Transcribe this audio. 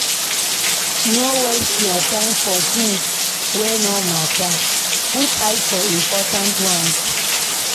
No waste your time for tins wey no matter, put eye for important ones.